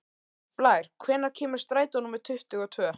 Blær, hvenær kemur strætó númer tuttugu og tvö?